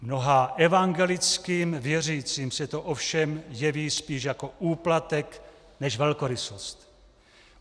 Mnoha evangelickým věřícím se to ovšem jeví spíš jako úplatek než velkorysost.